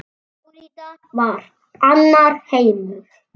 Flórída var annar heimur.